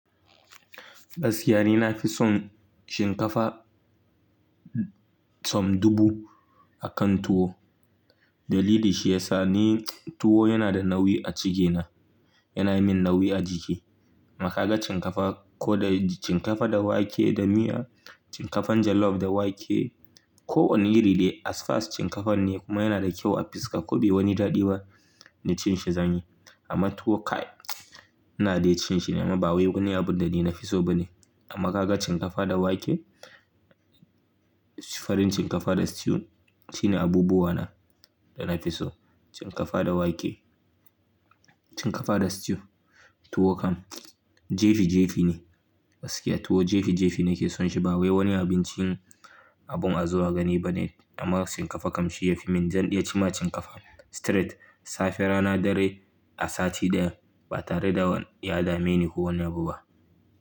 Gaskiya nina fi son shinkafa som dubu akan tuwo. Dalili shi ya sa ni tuwo yana da nauyi a cikina, yana yi min nauyi a jiki. Amma ka ga shinkafa ko da shinkafa da wake da miya, shinkafan jollof da wake ko wani iri ne as far as shinkafan ne kuma yana da kyau a fiska ko bai wani daɗi ba na cin shi zan yi. Amma tuwo kai na dai cin shi, amma ba wai wani abu da ni na fi so ba ne. Amma ka ga shinkafa da wake, farin shinkafa da stew shine abubuwana da na fi so. Shinkafa da wake, shinkafa da stew, tuwo kam jefi jefi ne. Gaskiya tuwo jefi jefi nake son shi ba wai wani abincin abun azuwa gani ba ne. Amma shinkafa kam shi yafi min, zan iya ci ma shinkafa straight safe rana dare a sati ɗaya ba tare da ya dame ni kowane abu ba.